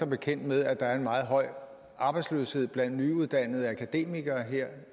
bekendt med at der er en meget høj arbejdsløshed blandt nyuddannede akademikere her